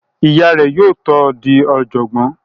Ìyá rẹ̀ yóò tó di ọ̀jọ̀gbọ́n